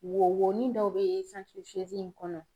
Wo woƆni dɔw be santirifiyezi in kɔnɔ